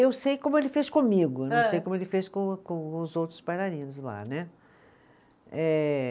Eu sei como ele fez comigo, não sei como ele fez com com os outros bailarinos lá, né. Eh